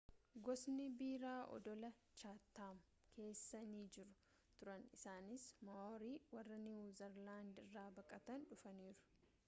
gosni biraa odola chatham keessa ni jiru turan isaanis ma'orii warra niwu zeelaandii irra baqatanii dhufaniidha